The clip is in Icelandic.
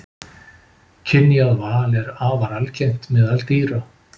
Kynjað val er afar algengt meðal dýra.